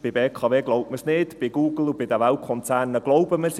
Bei der BKW glaubt man es nicht, bei Google und den Weltkonzernen glauben wir es;